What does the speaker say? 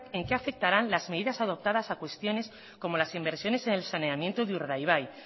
en qué afectaran las medidas adoptadas a cuestiones como las inversiones en el saneamiento de urdaibai